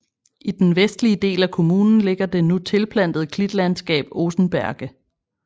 I den vestlige del af kommunen ligger det nu tilplantede klitlandskab Osenberge